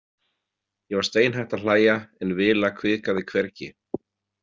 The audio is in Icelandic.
Ég var steinhætt að hlæja en Vila hvikaði hvergi.